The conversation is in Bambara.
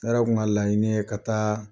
Ne yɛrɛ kun ka laɲini ye ka taa